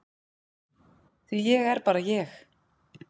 Því ég er bara ég.